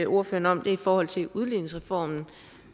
ordføreren om er i forhold til udligningsreformen